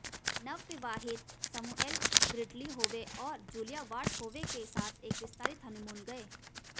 वे नवविवाहित शमूएल Gridley Howe और जूलिया वार्ड होवे के साथ एक विस्तारित हनीमून गए